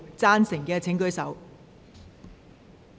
贊成的請舉手。